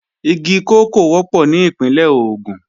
Igi kòkó wọ́pọ̀ ní Ìpínlẹ̀ Ògùn